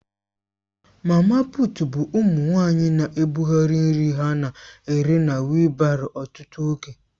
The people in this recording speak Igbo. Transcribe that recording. Mama puut bụ ụmụ nwanyị na-ebugharị nri ha na-ere na wịịlbárọ ọtụtụ oge.